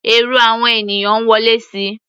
Èrò àwọn ènìyàn ń wọlé síi.